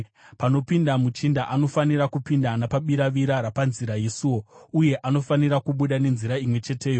Panopinda muchinda, anofanira kupinda napabiravira rapanzira yesuo, uye anofanira kubuda nenzira imwe cheteyo.